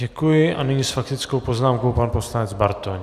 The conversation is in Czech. Děkuji a nyní s faktickou poznámkou pan poslanec Bartoň.